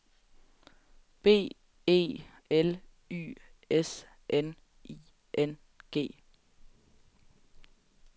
B E L Y S N I N G